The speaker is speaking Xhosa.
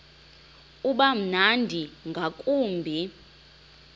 uba mnandi ngakumbi